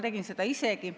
Tegin seda isegi.